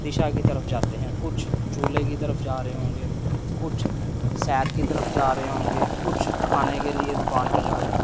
दिशा की तरफ जाते हैं कुछ झूले की तरफ जा रहे होंगे कुछ शहर की तरफ जा रहे होंगे कुछ खाने के लिए दुकान पे जा रहे हो--